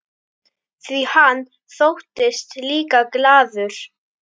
Því hann þóttist líka glaður.